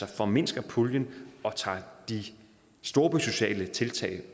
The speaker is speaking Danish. formindsker puljen og tager de storbysociale tiltag